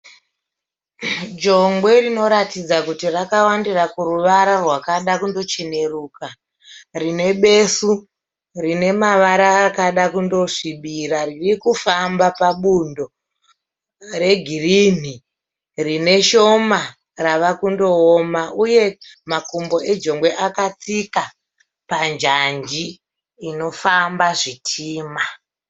Jongwe rinoratidza kuti rakawandira kuruvara rwakada kundocheneruka. Rine besu rine mavara akada kundosvibira riri kufamba pabundo regirinhi rine shoma ravakundooma uye makumbo ejongwe akatsika panjanji inofamba zvitima.